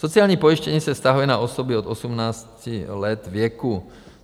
Sociální pojištění se vztahuje na osoby od 18 let věku.